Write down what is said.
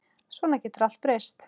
Svona getur allt breyst.